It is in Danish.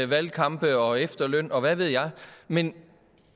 valgkampe og efterløn og hvad ved jeg men